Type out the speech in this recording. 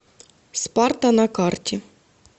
спарта на карте